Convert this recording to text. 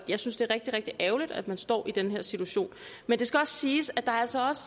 jeg synes det er rigtig rigtig ærgerligt at man står i den her situation men det skal også siges at der altså også